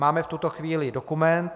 Máme v tuto chvíli dokument.